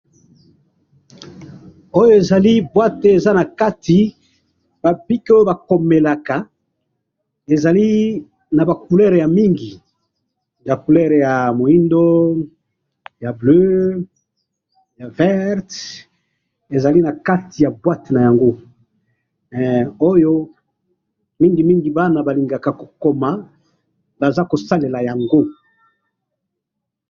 Oyo ezali boite eza nakati ba bic oyo balomelaka, ezali naba couleur yamingi, ba couleur ya mwindu, ya bleu, ya verte, ezali nakati ya boite nayango, eh! Oyo mingi mingi bana balingaka kokoma baza kosalela yango.